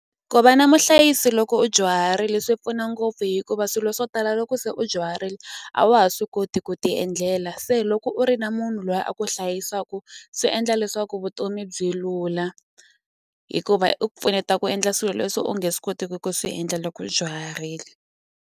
Ku va na muhlayisi loko u dyuharile swi pfuna ngopfu hikuva swilo swo tala loko se u dyuharile a wa ha swi koti ku ti endlela se loko u ri na munhu loyi a ku hlayisaku swi endla leswaku vutomi byi lula hikuva u pfuneta i ku endla swilo leswi u nge swi kotiki ku swi endla loko u dyuharile.